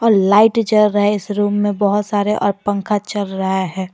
और लाइट जल रहा है इस रूम में बहुत सारे और पंखा चल रहा हैं।